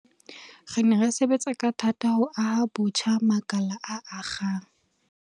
Re ne re sebetsa ka thata ho aha botjha makala a akgang